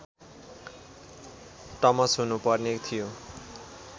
टमस हुनुपर्ने थियो